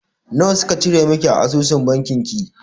Nawa suka cire miki a asusun banki ki?